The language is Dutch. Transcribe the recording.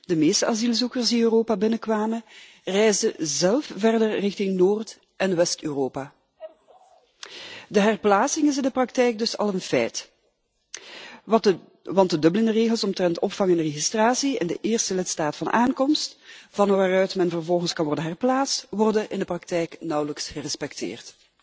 De meeste asielzoekers die Europa binnenkwamen, reisden zelf verder richting Noord en West Europa. De herplaatsing is in de praktijk dus al een feit want de Dublin regels omtrent opvang en registratie in de eerste lidstaat van aankomst, van waaruit men vervolgens kan worden herplaatst, worden in de praktijk nauwelijks gerespecteerd.